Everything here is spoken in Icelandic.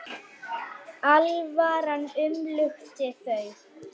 Alvaran umlukti þau.